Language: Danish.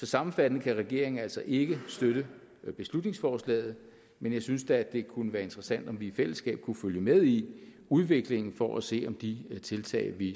sammenfattende kan regeringen altså ikke støtte beslutningsforslaget men jeg synes da at det kunne være interessant om vi i fællesskab kunne følge med i udviklingen for at se om de tiltag vi